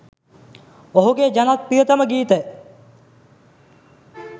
ඔහුගේ ජනප්‍රියතම ගීත